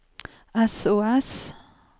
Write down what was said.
sos